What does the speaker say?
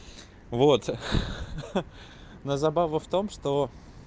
вот но забава в том что